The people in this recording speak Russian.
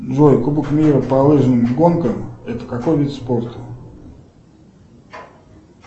джой кубок мира по лыжным гонкам это какой вид спорта